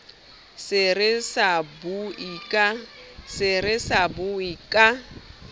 se re sa bue ka